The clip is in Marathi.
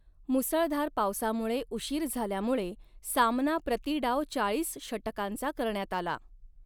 मुसळधार पावसामुळे उशीर झाल्यामुळे सामना प्रति डाव चाळीस षटकांचा करण्यात आला.